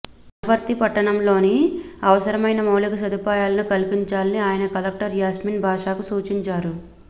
వనపర్తి పట్టణంలో అవసరమైన మౌళిక సదుపాయాలను కల్పించాలని ఆయన కలెక్టర్ యాస్మిన్ భాషాకు సూచించారు